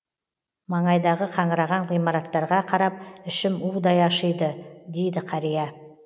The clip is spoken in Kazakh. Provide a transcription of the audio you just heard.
маңайдағы қаңыраған ғимараттарға қарап ішім удай ашиды дейді қария